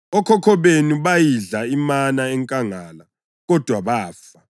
Okhokho benu bayidla imana enkangala, kodwa bafa.